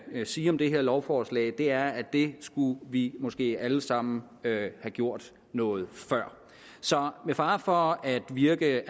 sige om det her lovforslag er at det skulle vi måske alle sammen have gjort noget før så med fare for at virke